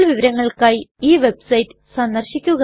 കൂടുതൽ വിവരങ്ങൾക്കായി ഈ വെബ്സൈറ്റ് സന്ദർശിക്കുക